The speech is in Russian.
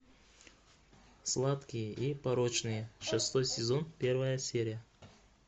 сладкие и порочные шестой сезон первая серия